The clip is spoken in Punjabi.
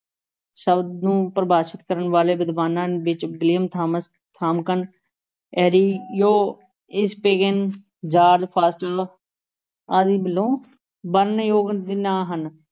ਸ਼ਬਦ ਨੂੰ ਪਰਿਭਾਸ਼ਿਤ ਕਰਨ ਵਾਲੇ ਵਿਦਵਾਨਾਂ ਵਿੱਚ ਵਿਲੀਅਮ ਥਾਮਸ ਥਾਮਕਨ, ਇਰੇਰਿਓ ਜਾਰਜ ਫਾਸਟਰ ਵਰਣਨਯੋਗ ਨਾਂ ਹਨ।